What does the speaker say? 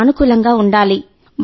సానుకూలంగా ఉండాలి